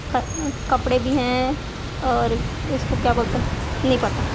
क कपड़े भी है और इसको क्या बोलते हैं नहीं पता।